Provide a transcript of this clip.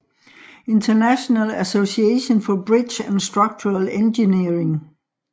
International Association for Bridge and Structural Engineering